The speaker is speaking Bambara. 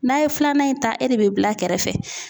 N'a ye filanan in ta e de bɛ bila kɛrɛfɛ .